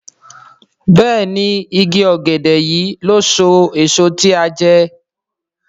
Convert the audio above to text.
Béèni ìgi ògèdè yí ló so èso tí a jé.